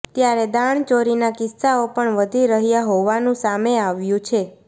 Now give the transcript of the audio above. ત્યારે દાણચોરીના કિસ્સાઓ પણ વધી રહ્યા હોવાનું સામે આવ્યું છે